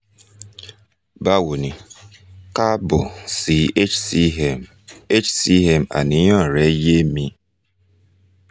bawo ni kaabo si hcm hcm àníyàn rẹ yé mi